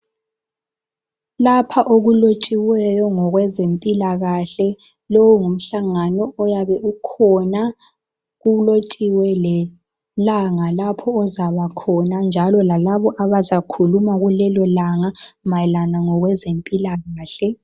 Lapha okulotshiweyo ngokwezempilakahle, lo ngumhlangano oyabukhona kulotshiwe lelanga lapho ozaba khona njalo lalabo abazakhuluma kulelo langa mayelana ngokwezempilakahle.